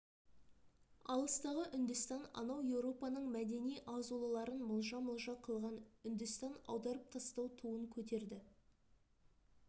алыстағы үндістан анау еуропаның мәдени азулыларын мылжа-мылжа қылған үндістан аударып тастау туын көтерді